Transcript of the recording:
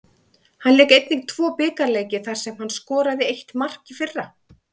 Hann lék einnig tvo bikarleiki þar sem hann skoraði eitt mark í fyrra.